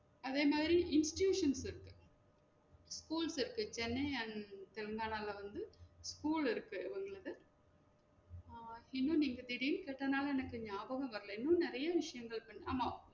அதே மாறி institutionses இருக்கு ஸ்கூல்ஸ் இருக்கு சென்னை and தென்மலைல வந்து ஸ்கூல் இருக்கு உங்களுக்கு ஆஹ் இன்னுன்னு எங்க திடீருன்னு கேட்டதுன்னால எனக்கு நியாபகமே வரல இன்னும் நெறைய விசையங்கள் இருக்கு ஆமாம்